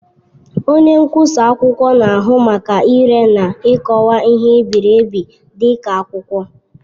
Onye nkwụsa akwụkwọ na-ahụ maka ire na ikọwa ihe e biri ebi dị ka akwụkwọ.